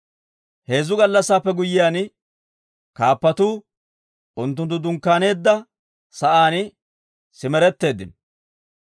Heezzu gallassaappe guyyiyaan, kaappatuu unttunttu dunkkaaneedda sa'aan simeretteeddino.